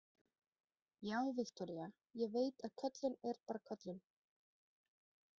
Já, Viktoría, ég veit að köllun er bara köllun.